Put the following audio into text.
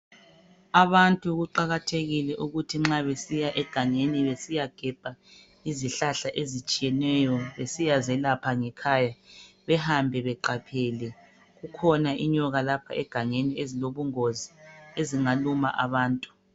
abantu kuqakathekile ukuthi nxa besiya egangeni besiyagebha izihlahla ezitshiyeneyo besiya zelapha ngekhaya behambe beqaphele kukhona inyoka lapha egangeni ezilobungozi ezingaluma abantu